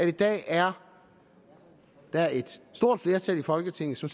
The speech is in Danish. i dag er er et stort flertal i folketinget som